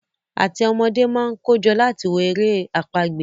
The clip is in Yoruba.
áti ọn ọmọdé món kojo láti wò èrè àpagbè